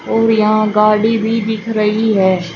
और यहां गाड़ी भी दिख रही है।